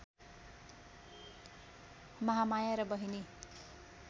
महामाया र बहिनी